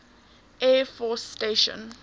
air force station